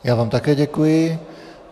Já vám také děkuji.